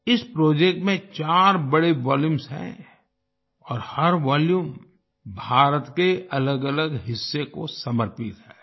इस प्रोजेक्ट में चार बड़े वॉल्यूम्स हैं और हर वोल्यूम भारत के अलगअलग हिस्से को समर्पित है